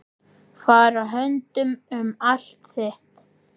Fara höndum um allt þitt.